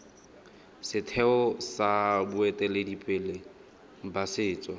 setheo sa boeteledipele ba setso